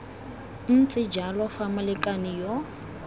ntse jalo fa molekane yo